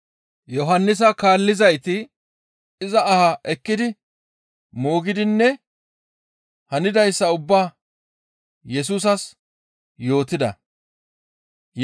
Yohannisa kaallizayti iza aha ekkidi moogidinne hanidayssa ubbaa Yesusas yootida.